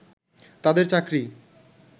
তাদের চাকরি